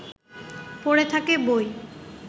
পড়ে থাকে বই